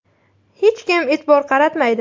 Hech kim e’tibor qaratmaydi.